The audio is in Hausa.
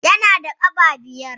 Yana da gaɓa biyar.